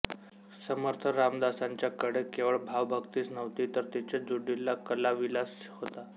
समर्थ रामदासांच्याकडे केवळ भावभक्तीच नव्हती तर तिच्या जोडीला कलाविलास होता